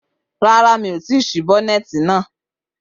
Rárá, mi ò tí ì ṣí bonnet náà